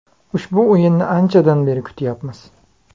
Ushbu o‘yinni anchadan beri kutyapmiz.